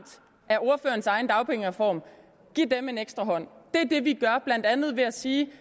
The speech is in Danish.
af ordførerens egen dagpengereform en ekstra hånd det er det vi gør ved blandt andet at sige